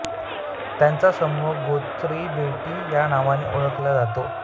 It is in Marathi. त्यांचा समूह गोश्री बेटे या नावाने ओळखला जातो